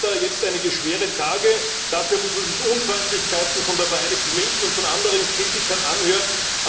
Dafür hat er jetzt einige schwere Tage, dafür muss er sich Unfreundlichkeiten von der Vereinigten Linken und von anderen Kritikern anhören.